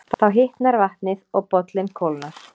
Þá hitnar vatnið og bollinn kólnar.